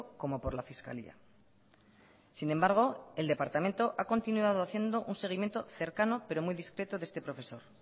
como por la fiscalía sin embargo el departamento ha continuado haciendo un seguimiento cercano pero muy discreto de este profesor